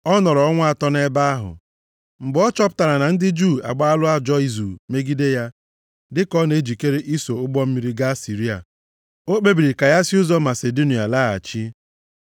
Ọ nọrọ ọnwa atọ nʼebe ahụ. Mgbe ọ chọpụtara na ndị Juu agbaala ajọ izu megide ya dịka ọ na-ejikere iso ụgbọ mmiri gaa Siria, o kpebiri ka ya si ụzọ Masidonia laghachi.